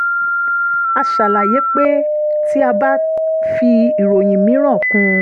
a ṣàlàyé pé tí a bá fi ìròyìn mìíràn kún un